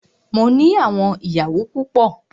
Mó ní àwọn ìyàwó púpọ.